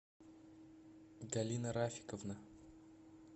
галина рафиковна